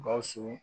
Gawusu